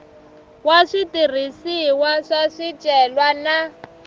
wa switirhisiwa swa swicelwa na